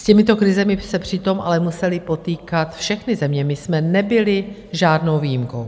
S těmito krizemi se přitom ale musely potýkat všechny země, my jsme nebyli žádnou výjimkou.